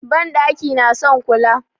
Banɗaki na son kula.